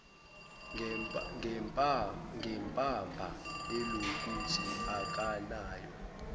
ngembaba elokuthi akanayo